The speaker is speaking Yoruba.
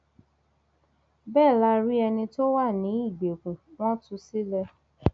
bẹẹ la rí ẹni tó wà ní ìgbèkùn wọn tú sílẹ